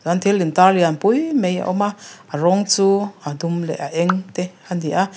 thil intar lian pui mai a awm a a rawng chu a dum leh a eng te a ni a.